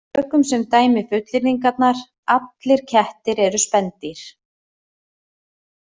Tökum sem dæmi fullyrðingarnar: Allir kettir eru spendýr